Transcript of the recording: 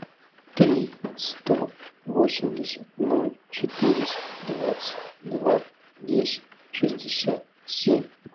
три сто восемьдесят ноль четыреста двадцать два десять шестьдесят семь